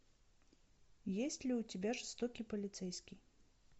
есть ли у тебя жестокий полицейский